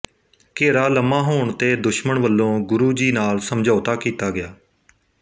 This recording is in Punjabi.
ਘੇਰਾ ਲੰਮਾ ਹੋਣ ਤੇ ਦੁਸ਼ਮਣ ਵੱਲੋਂ ਗੁਰੂ ਜੀ ਨਾਲ ਸਮਝੌਤਾ ਕੀਤਾ ਗਿਆ